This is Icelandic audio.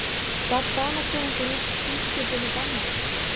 Gaf Danakonungur út tilskipun og bannaði